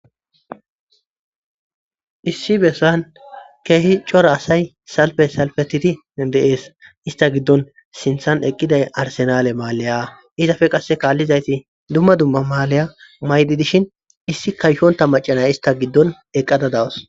issi bessan keehi cora asay salfe salfetiti deees ista giddon sinthan eqqiday arsenale maaleyaa izafe qasse kaallizayti dumma dumma maaleya maydi dishin issi kayshonta macanay ista giddon eqqada dawos